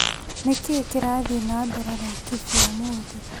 Nĩkĩĩ kirathiĩ na mbere Laikibia ũmũthĩ ?